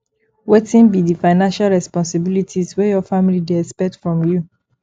wetin be di financial responsibilities wey your family dey expect from you